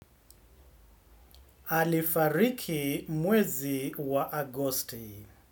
Alifariki mwezi wa agosti.